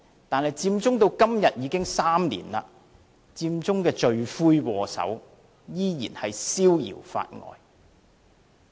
但是，佔中至今已有3年，佔中的罪魁禍首，依然逍遙法外。